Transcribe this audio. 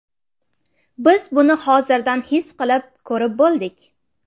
Biz buni hozirdan his qilib, ko‘rib bo‘ldik.